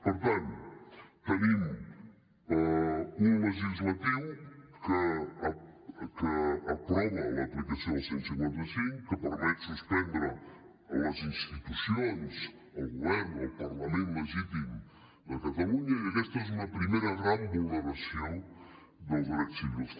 per tant tenim un legislatiu que aprova l’aplicació del cent i cinquanta cinc que permet suspendre les institucions el govern el parlament legítim de catalunya i aquesta és una primera gran vulneració dels drets civils